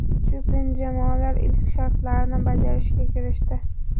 Shu kuni jamoalar ilk shartlarni bajarishga kirishdi.